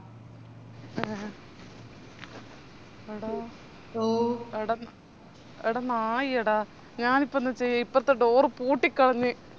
എടാ എടനായിയെടാ ഞാണിപ്പെന്ന ചെയ്യാ ഇപ്പറത്തെ door പൂട്ടിക്കളഞ്ഞ്